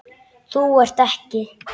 Þú ert ekki.